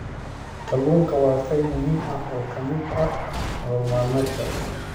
Kalluunku waa qayb muhiim ah oo ka mid ah nolol maalmeedka.